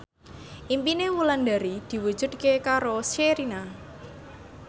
impine Wulandari diwujudke karo Sherina